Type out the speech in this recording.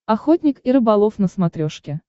охотник и рыболов на смотрешке